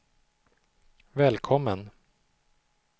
välkommen